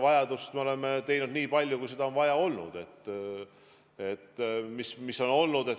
Täna me oleme teinud seda nii palju, kui seda on vaja olnud.